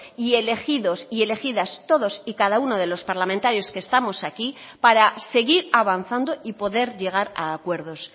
y elegidos y elegidas todos y cada uno de los parlamentarios que estamos aquí para seguir avanzando y poder llegar a acuerdos